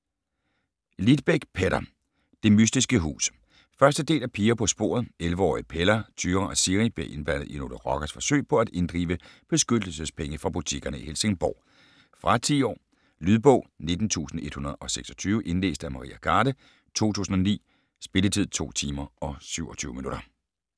Lidbeck, Petter: Det mystiske hus 1. del af Piger på sporet. 11-årige Pella, Tyra og Siri bliver indblandet i nogle rockeres forsøg på at inddrive beskyttelsespenge fra butikkerne i Helsingborg. Fra 10 år. Lydbog 19126 Indlæst af Maria Garde, 2009. Spilletid: 2 timer, 27 minutter.